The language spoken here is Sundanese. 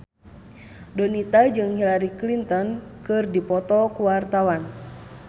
Donita jeung Hillary Clinton keur dipoto ku wartawan